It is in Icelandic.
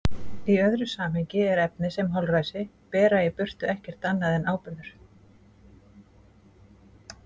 Í öðru samhengi er efnið sem holræsi bera í burtu ekkert annað en áburður.